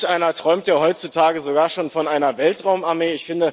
Manch einer träumt ja heutzutage sogar schon von einer Weltraumarmee.